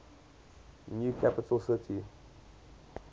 new capital city